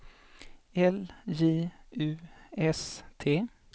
L J U S T